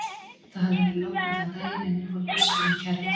Það hafði verið logn allan daginn en nú fór gustur um kjarrið.